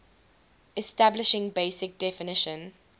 establishing basic definition